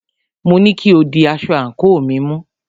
Mo ní kí o di aṣọ àńkò mi mú!